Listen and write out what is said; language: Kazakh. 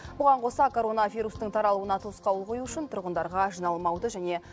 бұған қоса коронавирустың таралуына тосқауыл қою үшін тұрғындарға жиналмауды және